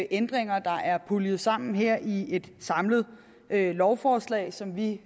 ændringer der er puljet sammen her i ét lovforslag som vi